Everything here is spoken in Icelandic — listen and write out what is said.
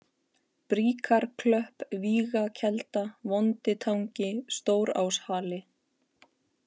Bríkarklöpp, Vígakelda, Vonditangi, Stóráshali